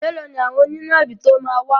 Mẹ́lòó ni àwọn onínàbì tó máa wá.